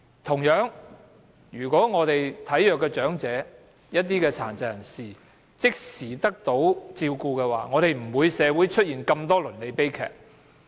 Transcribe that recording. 同樣地，體弱的長者和殘疾人士即時獲得照顧，社會便不會出現那麼多倫理悲劇。